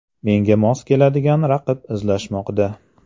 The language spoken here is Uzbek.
Menga mos keladigan raqib izlanmoqda.